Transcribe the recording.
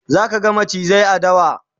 zaka ga macizai a dawa